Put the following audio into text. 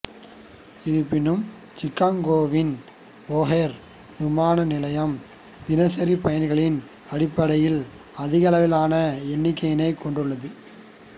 இருப்பினும் சிக்காக்கோவின் ஓஹார் விமான நிலையம் தினசரி பயணிகளின் அடிப்படையில் அதிகளவிலான எண்ணிக்கையினைக் கொண்டுள்ளது